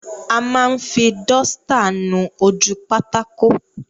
A máa ń fi dọ́stà nu ojú pátákó.